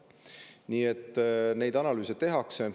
Nii et neid analüüse tehakse.